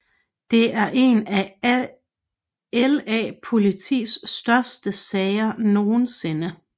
Det er en af LA Politis største sager nogensinde